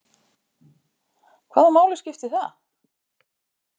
Hvaða máli skipti það?